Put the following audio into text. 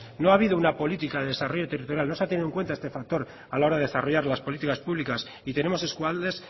no ha habido una política de desarrollo territorial no se ha tenido en cuenta este factor a la hora de desarrollar las políticas públicas y tenemos eskualdes